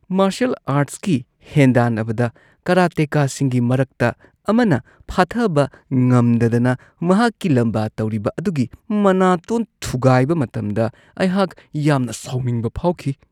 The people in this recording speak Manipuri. ꯃꯥꯔꯁꯦꯜ ꯑꯥꯔꯠꯁꯀꯤ ꯍꯦꯟꯗꯥꯟꯅꯕꯗ ꯀꯥꯔꯥꯇꯦꯀꯥꯁꯤꯡꯒꯤ ꯃꯔꯛꯇ ꯑꯃꯅ ꯐꯥꯊꯕ ꯉꯝꯗꯗꯅ ꯃꯍꯥꯛꯀꯤ ꯂꯝꯕꯥ ꯇꯧꯔꯤꯕ ꯑꯗꯨꯒꯤ ꯃꯅꯥꯇꯣꯟ ꯊꯨꯒꯥꯏꯕ ꯃꯇꯝꯗ ꯑꯩꯍꯥꯛ ꯌꯥꯝꯅ ꯁꯥꯎꯅꯤꯡꯕ ꯐꯥꯎꯈꯤ ꯫